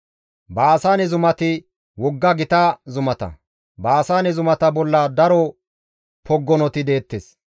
Baasaane zumati wogga gita zumata; Baasaane zumata bolla daro poggonoti deettes.